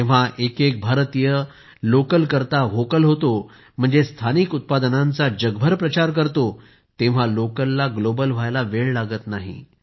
जेव्हा एक एक भारतीय लोकल करता व्होकल होतो म्हणजे स्थानिक उत्पादनांचा जगभर प्रचार करतो तेव्हा लोकलला ग्लोबल व्हायला वेळ लागत नाही